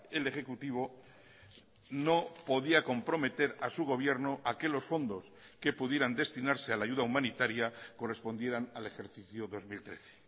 el ejecutivo no podía comprometer a su gobierno a que los fondos que pudieran destinarse a la ayuda humanitaria correspondieran al ejercicio dos mil trece